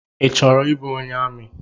Ị chọrọ ịbụ onye amị?